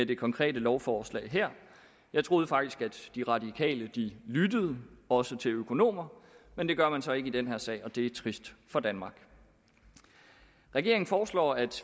det konkrete lovforslag her jeg troede faktisk at de radikale lyttede også til økonomer men det gør man så ikke i den her sag og det er trist for danmark regeringen foreslår at